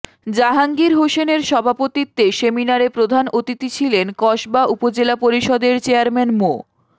জাহাঙ্গীর হোসেনের সভাপতিত্বে সেমিনারে প্রধান অতিথি ছিলেন কসবা উপজেলা পরিষদের চেয়ারম্যান মো